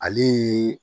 Ale ye